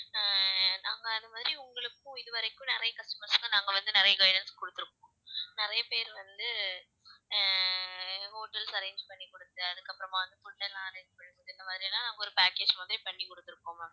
அஹ் நாங்க அது மாதிரி உங்களுக்கும் இதுவரைக்கும் நிறைய customers க்கும் நாங்க வந்து நிறைய guidance குடுத்திருக்கோம், நிறைய பேர் வந்து அஹ் hotels arrange பண்ணிக்குடுத்து அதுக்கப்புறமா வந்து food எல்லாம் arrange பண்ணி குடுத்து இந்த மாதிரி எல்லாம் நாங்க ஒரு package மாதிரி பண்ணிக்குடுத்திருக்கோம் ma'am